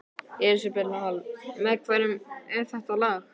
Elísabet Hall: Með hverjum er það lag?